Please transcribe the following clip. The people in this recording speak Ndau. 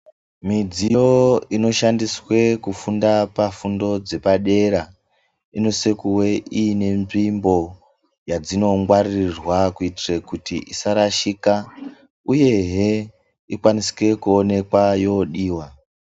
Midziyo inoshandiswe kufunda pafundo dzepadera, inosise kuwe ine nzvimbo yadzinongwaririrwa kuitire kuti isarashika uyehe ikwanisike kuoneka yodiwa.